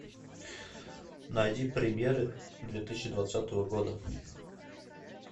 найди премьеры две тысячи двадцатого года